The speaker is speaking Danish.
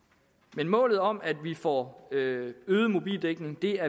men målet om at vi får øget øget mobildækning er